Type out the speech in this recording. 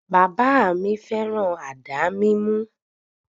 Bàbà mi féràn àdá mímú.